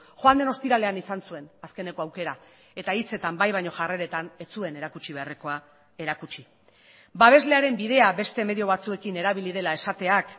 joan den ostiralean izan zuen azkeneko aukera eta hitzetan bai baino jarreretan ez zuen erakutsi beharrekoa erakutsi babeslearen bidea beste medio batzuekin erabili dela esateak